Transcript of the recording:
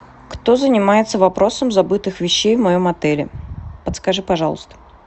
кто занимается вопросом забытых вещей в моем отеле подскажи пожалуйста